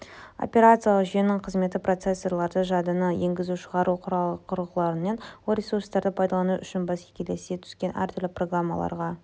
операциялық жүйенің қызметі процессорларды жадыны енгізу-шығару құрылғыларын ол ресурстарды пайдалану үшін бәсекелеске түскен әртүрлі программаларға